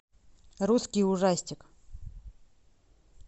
русский ужастик